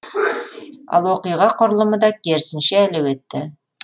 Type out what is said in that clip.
ал оқиға құрылымы да керісінше әлеуетті